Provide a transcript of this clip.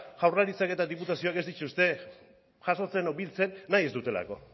jaurlaritzak eta diputazioak ez dituzten jasotzen edo biltzen nahi ez dutelako